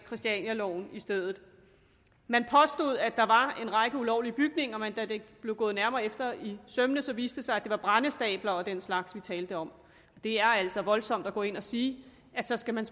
christianialoven i stedet man påstod at der var en række ulovlige bygninger men da det blev gået nærmere efter i sømmene viste det sig at det var brændestabler og den slags vi talte om det er altså voldsomt at gå ind og sige at så skal man